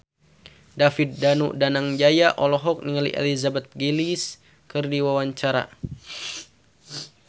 David Danu Danangjaya olohok ningali Elizabeth Gillies keur diwawancara